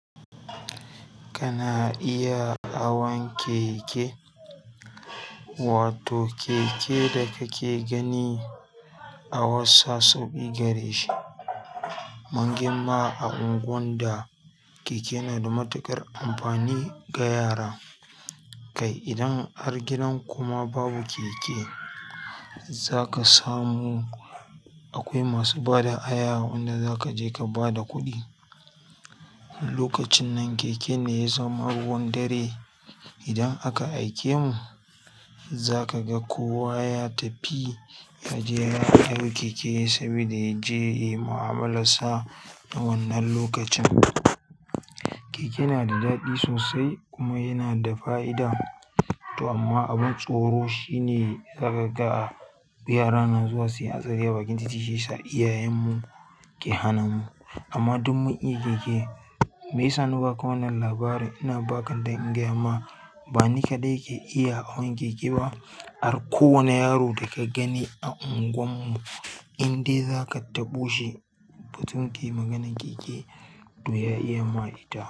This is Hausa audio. Kana iya hawan keke, wato keke da kake gani a wassape gare shi. Mun girma a unguwar da keke na da matuƙar amfani ga yara. Kai idan har gidan kuma babu keke, za ka samu akwai masu bada haya wanda za ka je ka bada kuɗi. Lokacin nan keke ne ya zama ruwan dare. Idan aka aike mu, za ka ga kowa ya tafi ya je ya hau keke saboda ya je yi mu'amala sa na wannan lokacin. Keke na da daɗi sosai kuma yana da fa'ida. To amma abin tsoro shine za ka ga yara na zuwa siyan asali a bakin titi shi sa iyayen mu ke hana mu. Amma dun mun yi keke, meya sa na ba ka wannan labari. Ina ba ka dan in gaya ma ba ni kaɗai ke iya hawan keke ba, har kowane yaro da ka gani a unguwar mu, in dai za ka taɓo shi batun ki maganan keke, to ya iya ma ita.